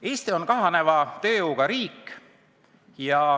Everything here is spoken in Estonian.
Eesti on kahaneva tööjõuga riik.